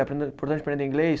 É importante aprender inglês?